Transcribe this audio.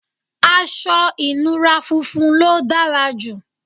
aṣọ ìnura funfun ló dára jù